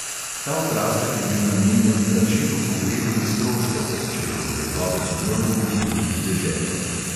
Ta okrasek je bil namenjen plačilu pogrebnih stroškov, če je morjeplovec umrl v tuji deželi.